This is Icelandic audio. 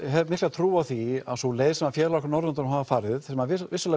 hef mikla trú á því að sú leið sem félagar okkar á Norðurlöndunum hafa farið sem